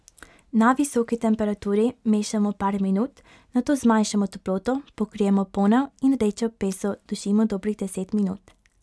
Na visoki temperaturi mešamo par minut, nato zmanjšamo toploto, pokrijemo ponev in rdečo peso dušimo dobrih deset minut.